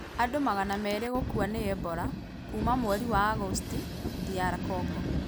Andũ magana meere gũkua nĩ Ebola. Kuuma mweri wa Agosti DR Congo.